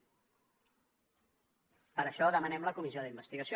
per això demanem la comissió d’investigació